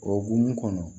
O hukumu kɔnɔ